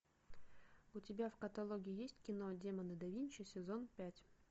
у тебя в каталоге есть кино демоны да винчи сезон пять